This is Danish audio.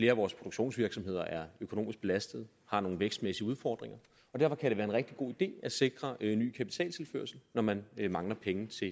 af vores produktionsvirksomheder er økonomisk belastet har nogle vækstmæssige udfordringer og derfor kan det være en rigtig god idé at sikre ny kapitaltilførsel når man mangler penge til